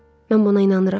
Mən buna inanıram.